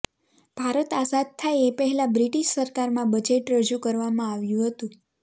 ભારત આઝાદ થાય એ પહેલા બ્રિટિશ સરકારમાં બજેટ રજૂ કરવામાં આવ્યુ હતુ